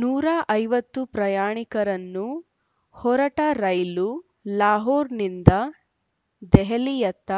ನೂರ ಐವತ್ತು ಪ್ರಯಾಣಿಕರನ್ನು ಹೊರಟ ರೈಲು ಲಾಹೋರ್‌ನಿಂದ ದೆಹಲಿಯತ್ತ